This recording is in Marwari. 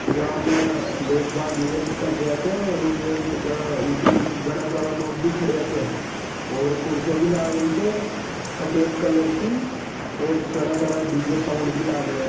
जा में लोग बाग इवेंट कर रहा छे और इवेंट की ऊटी गाना सारा लोग भी खड़े छे और कुर्सियां भी लग रही छे सफेद कलर की और घना सारा डी_जे साउंड भी लाग रहा है।